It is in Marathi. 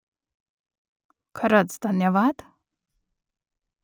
खरंच धन्यवाद ?